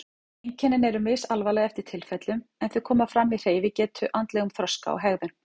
Einkennin eru misalvarleg eftir tilfellum en þau koma fram í hreyfigetu, andlegum þroska og hegðun.